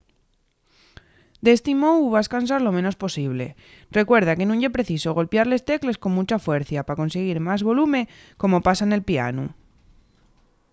d’esti mou vas cansar lo menos posible recuerda que nun ye preciso golpiar les tecles con muncha fuercia pa consiguir más volume como pasa nel pianu